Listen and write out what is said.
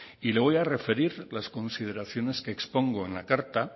y le voy a referir las consideraciones que expongo en la carta